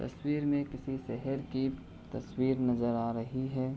तस्वीर में किसी शहर की तस्वीर नजर आ रही है।